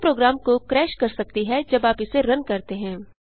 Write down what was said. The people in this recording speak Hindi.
यह प्रोग्राम को क्रैश कर सकती है जब आप इसे रन करते हैं